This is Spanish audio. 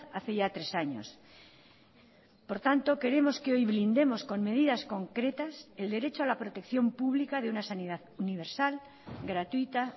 hace ya tres años por tanto queremos que hoy blindemos con medidas concretas el derecho a la protección pública de una sanidad universal gratuita